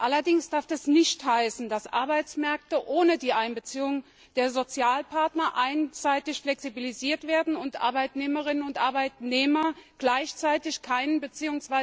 Allerdings darf das nicht heißen, dass Arbeitsmärkte ohne die Einbeziehung der Sozialpartner einseitig flexibilisiert werden und Arbeitnehmerinnen und Arbeitnehmer gleichzeitig keinen bzw.